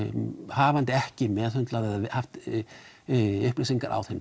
hafandi ekki meðhöndlað eða haft upplýsingar á þeim